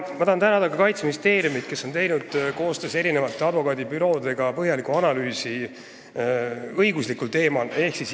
Ma tahan tänada Kaitseministeeriumi, kes on teinud koostöös mitme advokaadibürooga põhjaliku analüüsi õiguslikul teemal.